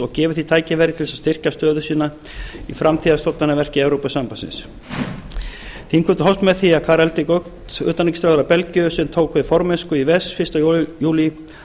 og gefið því tækifæri til að styrkja stöðu sína í framtíðarstofnanaverki evrópusambandsins þingfundur hófst með því að utanríkisráðherra belgíu sem tók við formennsku í ves fyrsta júlí